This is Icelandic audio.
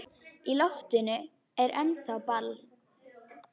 Í loftinu er ennþá ball.